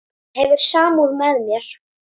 Hefur samúð með mér.